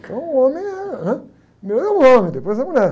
Então o homem é, né? Primeiro o homem, depois a mulher.